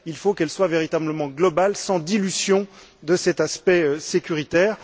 Il faut qu'elle soit véritablement globale, sans dilution de cet aspect sécuritaire.